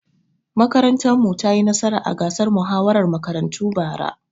Makarantar mu ta yi nasara a gasar muhawarar makarantu bara.